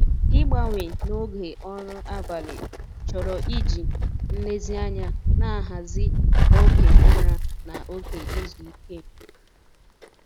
Ịgbanwe na oge ọrụ abalị chọrọ iji nlezianya na-ahazi oge ụra na oge izu ike.